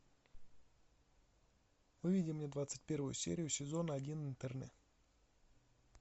выведи мне двадцать первую серию сезона один интерны